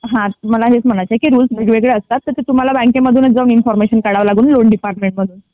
हा मला हेच म्हणायचं आहे कि रूल्स वेगवेगळे असतात तर ते तुम्हला बँकेमध्ये जाऊन इन्फॉर्मेशन काढावे लागते लोन डिपार्टमेंट मधून.